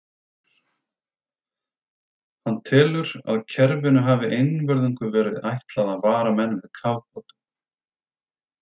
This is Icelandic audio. Hann telur, að kerfinu hafi einvörðungu verið ætlað að vara menn við kafbátum.